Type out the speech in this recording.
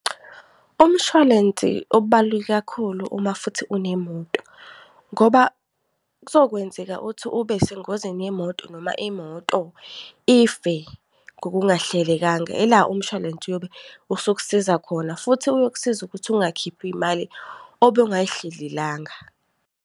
Umshwalense ubaluleke kakhulu uma futhi unemoto, ngoba kuzokwenzeka ukuthi ube sengozini yemoto, noma imoto ife ngokungahlelekanga. Yila umshwalense uyobe usukusiza khona, futhi kuyokusiza ukuthi ungakhiphi imali obungayihlelelanga.